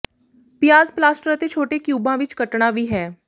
ਪਿਆਜ਼ ਪਲਾਸਟਰ ਅਤੇ ਛੋਟੇ ਕਿਊਬਾਂ ਵਿੱਚ ਕੱਟਣਾ ਵੀ ਹੈ